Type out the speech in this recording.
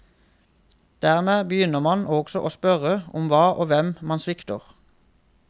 Dermed begynner man også å spørre om hva og hvem man svikter.